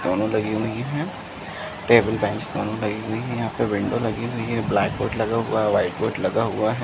दोनों लगी हुई हैं। टेबिल बेंच दोनों लगी हुई हैं। यहां पर विंडो लगी हुई हैं। ब्लैक बोर्ड लगा हुआ है। व्हाइट बोर्ड लगा हुआ है।